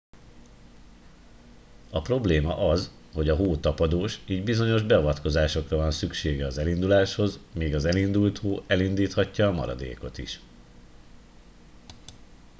a probléma az hogy a hó tapadós így bizonyos beavatkozásra van szüksége az elindulásához míg az elindult hó elindíthatja a maradékot is